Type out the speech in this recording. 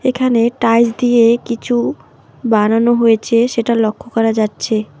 এখানে টাইলস দিয়ে কিছু বানানো হয়েছে সেটা লক্ষ্য করা যাচ্ছে।